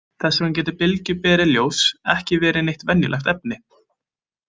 Þess vegna getur bylgjuberi ljóss ekki verið neitt venjulegt efni.